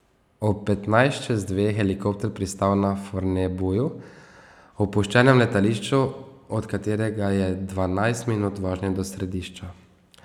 Ob petnajst čez dve je helikopter pristal na Fornebuju, opuščenem letališču, od katerega je dvanajst minut vožnje do središča.